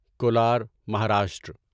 Kolar Maharashtra